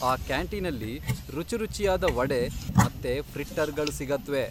ಆ ಕ್ಯಾಂಟೀನಲ್ಲಿ ರುಚಿರುಚಿಯಾದ ವಡೆ ಮತ್ತೆ ಫ್ರಿಟ್ಟರ್ಗಳು ಸಿಗತ್ವೆ.